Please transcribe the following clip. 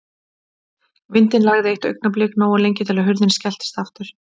Vindinn lægði eitt augnablik, nógu lengi til að hurðin skelltist aftur.